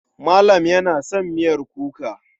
Malam yana son miyar kuka.